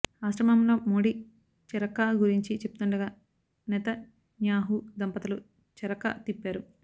ఆశ్రమంలో మోడీ చరఖా గురించి చెప్తుండగా నెతన్యాహు దంపతులు చరఖా తిప్పారు